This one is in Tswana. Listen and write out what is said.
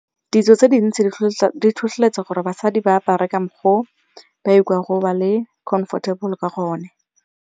Ditso tse dintsi di tlhotlheletsa gore basadi ba apare ka mokgwa o ba ikutlwang ba le comfortable ka gona.